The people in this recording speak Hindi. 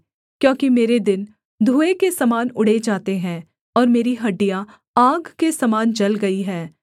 क्योंकि मेरे दिन धुएँ के समान उड़े जाते हैं और मेरी हड्डियाँ आग के समान जल गई हैं